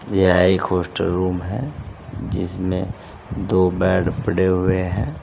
यह एक hostel room है जिसमें दो बेड पड़े हुए हैं।